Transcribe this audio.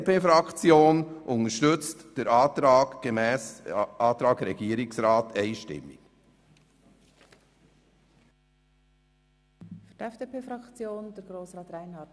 Die BDP-Fraktion unterstützt deshalb den Antrag des Regierungsrats einstimmig.